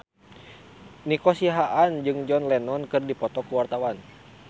Nico Siahaan jeung John Lennon keur dipoto ku wartawan